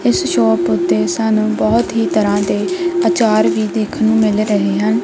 ਇਸ ਸ਼ੋਪ ਤੇ ਸਾਨੂੰ ਬਹੁਤ ਹੀ ਤਰਾਂ ਦੇ ਆਚਾਰ ਵੀ ਦੇਖਣ ਨੂੰ ਮਿਲ ਰਹੇ ਹਨ।